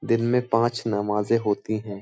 दिन में पांच नमाजें होती हैं।